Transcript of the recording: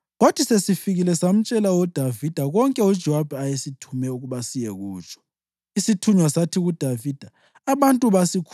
Isithunywa sasuka sahamba, kwathi sesifikile samtshela uDavida konke uJowabi ayesithume ukuba siyekutsho.